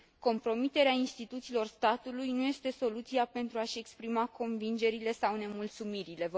Compromiterea instituțiilor statului nu este soluția pentru a și exprima convingerile sau nemulțumirile.